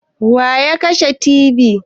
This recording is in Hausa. Waya kashe tibi?